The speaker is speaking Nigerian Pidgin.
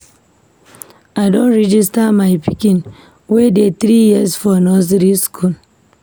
I don register my pikin wey dey three years for nursery school.